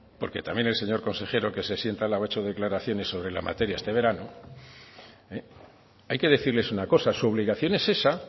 porque también el señor consejero que se sienta al lado ha hecho declaraciones sobre la materia este verano hay que decirles una cosa su obligación es esa